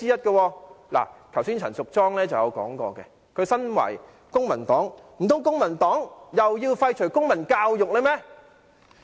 剛才陳淑莊議員亦提及，她身為公民黨議員，難道公民黨又要廢除公民教育嗎？